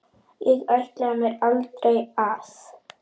Ég ætlaði mér aldrei að.